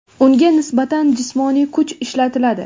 unga nisbatan jismoniy kuch ishlatiladi.